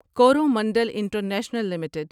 Coromandel international limited